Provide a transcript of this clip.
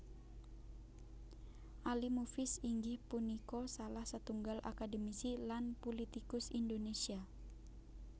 Ali Mufiz inggih punika salah setunggal akademisi lan pulitikus Indonésia